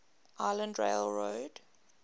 island rail road